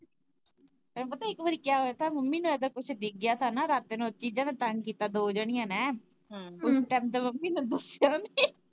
ਤੈਨੂੰ ਪਤਾ ਇੱਕ ਵਾਰੀ ਕਿਆ ਹੋਇਆ ਥਾਂ ਮੰਮੀ ਹੁਣਾ ਦਾ ਕੁੱਝ ਡਿੱਗ ਗਿਆ ਥਾਂ ਨਾ ਰਾਤ ਨੂੰ ਓਸ ਚੀਜਾਂ ਨੇ ਤੰਗ ਕੀਤਾ ਦੋ ਜਣੀਆਂ ਨੇ, ਓਸ ਟਾਈਮ ਤਾਂ ਮੰਮੀ ਨੇ ਦੱਸਿਆ ਵੀ ਨੀ।